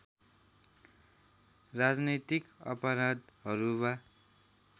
राजनैतिक अपराधहरू वा